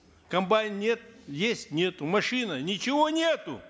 комбайн нет есть нету машина ничего нету